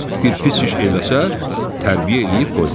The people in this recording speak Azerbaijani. Bir pis iş eləsə, tərbiyə eləyib qoymaz."